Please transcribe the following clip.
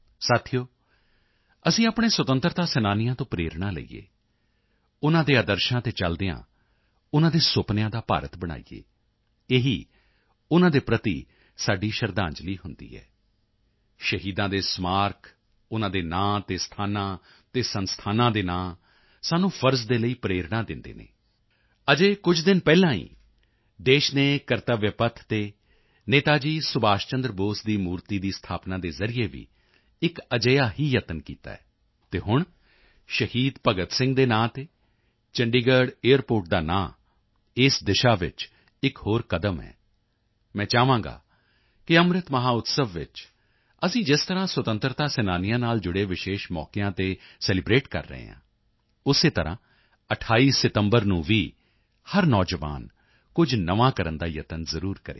ਸਾਥੀਓ ਅਸੀਂ ਆਪਣੇ ਸੁਤੰਤਰਤਾ ਸੈਨਾਨੀਆਂ ਤੋਂ ਪ੍ਰੇਰਣਾ ਲਈਏ ਉਨ੍ਹਾਂ ਦੇ ਆਦਰਸ਼ਾਂ ਤੇ ਚਲਦੇ ਹੋਏ ਉਨ੍ਹਾਂ ਦੇ ਸੁਪਨਿਆਂ ਦਾ ਭਾਰਤ ਬਣਾਈਏ ਇਹੀ ਉਨ੍ਹਾਂ ਦੇ ਪ੍ਰਤੀ ਸਾਡੀ ਸ਼ਰਧਾਂਜਲੀ ਹੁੰਦੀ ਹੈ ਸ਼ਹੀਦਾਂ ਦੇ ਸਮਾਰਕ ਉਨ੍ਹਾਂ ਦੇ ਨਾਮ ਤੇ ਸਥਾਨਾਂ ਅਤੇ ਸੰਸਥਾਨਾਂ ਦੇ ਨਾਮ ਸਾਨੂੰ ਫ਼ਰਜ਼ ਦੇ ਲਈ ਪ੍ਰੇਰਣਾ ਦਿੰਦੇ ਹਨ ਅਜੇ ਕੁਝ ਦਿਨ ਪਹਿਲਾਂ ਹੀ ਦੇਸ਼ ਨੇ ਕਰਤਵਯ ਪੱਥ ਤੇ ਨੇਤਾ ਜੀ ਸੁਭਾਸ਼ ਚੰਦਰ ਬੋਸ ਦੀ ਮੂਰਤੀ ਦੀ ਸਥਾਪਨਾ ਦੇ ਜ਼ਰੀਏ ਵੀ ਇੱਕ ਅਜਿਹਾ ਹੀ ਯਤਨ ਕੀਤਾ ਹੈ ਅਤੇ ਹੁਣ ਸ਼ਹੀਦ ਭਗਤ ਸਿੰਘ ਦੇ ਨਾਮ ਤੇ ਚੰਡੀਗੜ੍ਹ ਏਅਰਪੋਰਟ ਦਾ ਨਾਮ ਇਸ ਦਿਸ਼ਾ ਵਿੱਚ ਇੱਕ ਹੋਰ ਕਦਮ ਹੈ ਮੈਂ ਚਾਹਾਂਗਾ ਕਿ ਅੰਮ੍ਰਿਤ ਮਹੋਤਸਵ ਵਿੱਚ ਅਸੀਂ ਜਿਸ ਤਰ੍ਹਾਂ ਸੁਤੰਤਰਤਾ ਸੈਨਾਨੀਆਂ ਨਾਲ ਜੁੜੇ ਵਿਸ਼ੇਸ਼ ਮੌਕਿਆਂ ਤੇ ਸੈਲਿਬ੍ਰੇਟ ਕਰ ਰਹੇ ਹਾਂ ਉਸੇ ਤਰ੍ਹਾਂ 28 ਸਤੰਬਰ ਨੂੰ ਵੀ ਹਰ ਨੌਜਵਾਨ ਕੁਝ ਨਵਾਂ ਯਤਨ ਜ਼ਰੂਰ ਕਰੇ